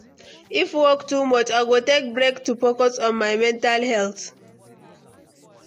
If work too much, I go take break to focus on my mental health.